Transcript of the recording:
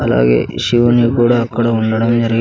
అలాగే ఈ శివున్ని కూడా అక్కడ ఉండడం జరిగిం --